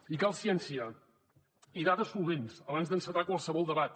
i cal ciència i dades solvents abans d’encetar qualsevol debat